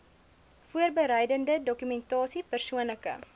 voorbereidende dokumentasie persoonlike